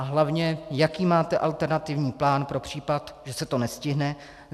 A hlavně, jaký máte alternativní plán pro případ, že se to nestihne.